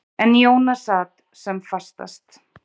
En Jóna sat sem fastast.